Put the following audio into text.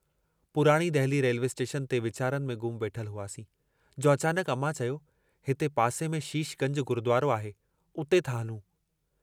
पुराणी Delhi railway station ते वीचारनि में गुम वेठल हुआसीं, जो अचानकु अमां चयो, हिते पासे में शीश गंज गुरुद्वारो आहे उते था हलूं।